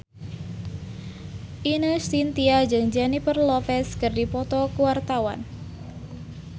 Ine Shintya jeung Jennifer Lopez keur dipoto ku wartawan